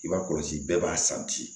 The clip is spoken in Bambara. I b'a kɔlɔsi bɛɛ b'a san bi